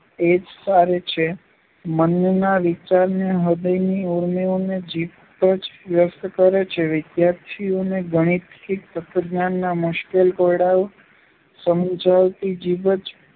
એ જ સારે છે. મનના વિચાર ને હૃદયની ઊર્મિઓને જીભ જ વ્યક્ત કરે છે. વિદ્યાર્થીઓને ગણિત કે તત્ત્વજ્ઞાનના મુશ્કેલ કોયડાઓ સમજાવતી જીભ જ